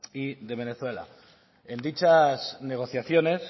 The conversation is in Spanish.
y de venezuela en dichas negociaciones